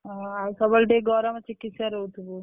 ଓହୋ! ଆଉ ସବୁ ବେଳେ ଟିକେ ଗରମ ଚିକିତ୍ସାରେ ରହୁଥିବୁ।